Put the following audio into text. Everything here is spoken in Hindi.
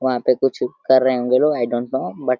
''वहाँ पे कुछ कर रहे होंगे लोग आई डोंट नो बट --''